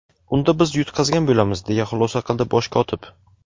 unda biz yutqazgan bo‘lamiz deya xulosa qildi Bosh kotib.